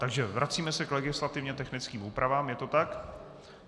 Takže vracíme se k legislativně technickým úpravám, je to tak?